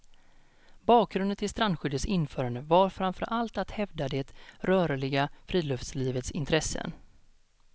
Bakgrunden till strandskyddets införande var framför allt att hävda det rörliga friluftslivets intressen.